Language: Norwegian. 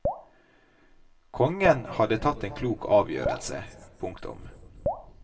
Kongen hadde tatt en klok avgjørelse. punktum